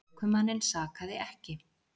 Ökumanninn sakaði ekki